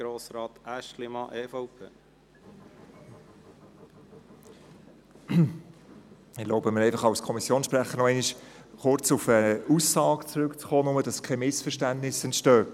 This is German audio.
der BaK. Ich erlaube mir, als Kommissionssprecher kurz auf eine Aussage zurückzukommen, damit keine Missverständnisse entstehen.